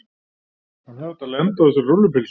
Hann hefði átt að lenda á þessari rúllupylsu.